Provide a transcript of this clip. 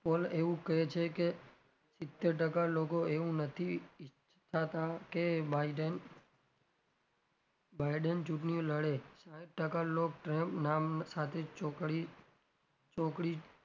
poll એવું કે છે કે સિત્તેર ટકા લોકો એવું નથી ઇચ્છતા કે biden biden ચુંટણીઓ લડે સાહીઠ ટકા લોકો trump નામ સાથે ચોકડી ચોકડી,